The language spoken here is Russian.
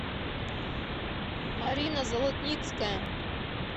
марина золотницкая